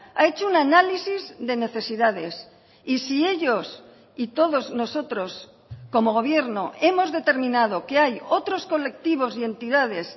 ha hecho un análisis de necesidades y si ellos y todos nosotros como gobierno hemos determinado que hay otros colectivos y entidades